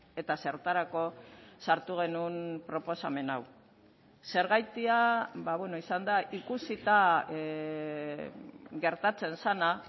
eta zertarako sartu genuen proposamen hau zergatia izan da ikusita gertatzen zena